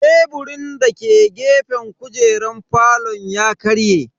Teburin dake gefen kujeran falon ya karye.